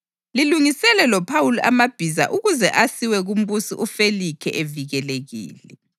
Lilungisele loPhawuli amabhiza ukuze asiwe kuMbusi uFelikhe evikelekile.”